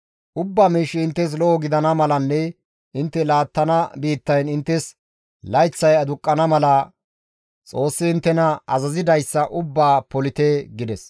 Ubba miishshi inttes lo7o gidana malanne intte laattana biittayn inttes layththay aduqqana mala Xoossi inttena azazidayssa ubbaa polite» gides.